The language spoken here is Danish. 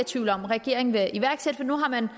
tvivl om at regeringen vil iværksætte for nu har man